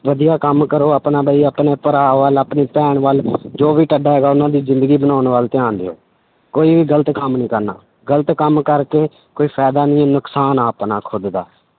ਵਧੀਆ ਕੰਮ ਕਰੋ ਆਪਣਾ ਬਾਈ ਆਪਣੇ ਭਰਾ ਵੱਲ ਆਪਣੀ ਭੈਣ ਵੱਲ ਜੋ ਵੀ ਤੁਹਾਡਾ ਹੈਗਾ ਉਹਨਾਂ ਦੀ ਜ਼ਿੰਦਗੀ ਬਣਾਉਣ ਵੱਲ ਧਿਆਨ ਦਿਓ, ਕੋਈ ਵੀ ਗ਼ਲਤ ਕੰਮ ਨਹੀਂ ਕਰਨਾ, ਗ਼ਲਤ ਕੰਮ ਕਰਕੇ ਕੋਈ ਫ਼ਾਇਦਾ ਨੀ ਨੁਕਸਾਨ ਆਂ ਆਪਣਾ ਖੁੱਦ ਦਾ,